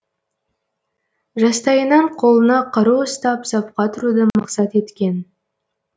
жастайынан қолына қару ұстап сапқа тұруды мақсат еткен